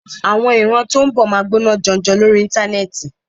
Àwọn ìran tó ń bọ̀ máa gbóná janjan lórí Íńtánẹ́ẹ̀tì.